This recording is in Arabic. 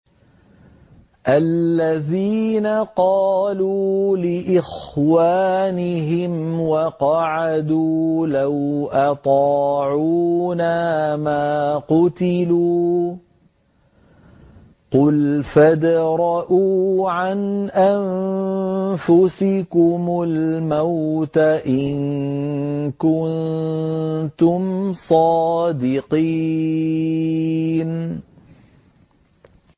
الَّذِينَ قَالُوا لِإِخْوَانِهِمْ وَقَعَدُوا لَوْ أَطَاعُونَا مَا قُتِلُوا ۗ قُلْ فَادْرَءُوا عَنْ أَنفُسِكُمُ الْمَوْتَ إِن كُنتُمْ صَادِقِينَ